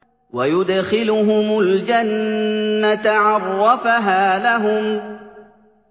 وَيُدْخِلُهُمُ الْجَنَّةَ عَرَّفَهَا لَهُمْ